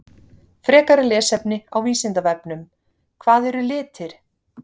Frekara lesefni á Vísindavefnum: Hvað eru litir?